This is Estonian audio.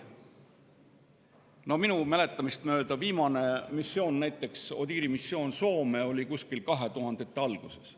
Minu mäletamist mööda oli Soomes viimane ODIHR‑i missioon 2000. aastate alguses.